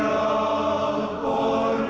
að